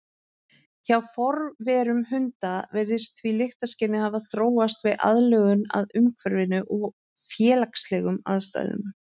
Hjá forverum hunda virðist því lyktarskynið hafa þróast við aðlögun að umhverfinu og félagslegum aðstæðum.